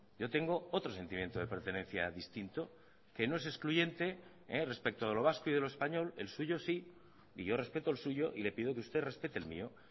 yo tengo otro sentimiento de pertenencia distinto que no es excluyente respecto de lo vasco y de lo español el suyo sí y yo respeto el suyo y le pido que usted respete el mío